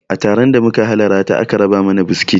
A taron da muka halarata aka raba mana biskit